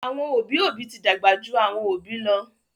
àwọn obì obì tí dàgbà jù àwọn obì lọ